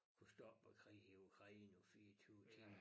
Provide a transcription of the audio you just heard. Kunne stoppe æ krig i Ukraine på 24 timer